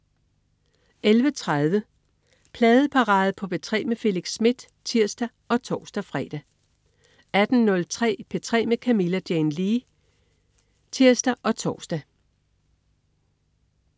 11.30 Pladeparade på P3 med Felix Smith (tirs og tors-fre) 18.03 P3 med Camilla Jane Lea (tirs og tors)